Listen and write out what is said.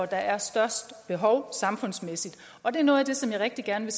der er størst behov samfundsmæssigt og det er noget af det som jeg rigtig gerne